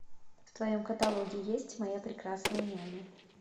в твоем каталоге есть моя прекрасная няня